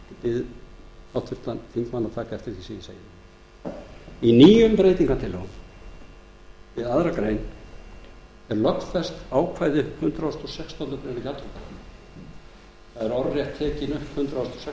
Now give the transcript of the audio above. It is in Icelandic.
ég bið háttvirtan þingmann að taka eftir því sem ég segi í nýjum breytingartillögum við aðra grein er lögfest ákvæði hundrað og sextándu grein gjaldþrotalaga þar er orðrétt tekin upp hundrað og sextándu